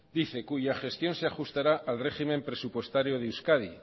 cuya gestión se ajustará al régimen presupuestario de euskadi